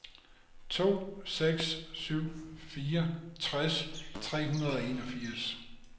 to seks syv fire tres tre hundrede og enogfirs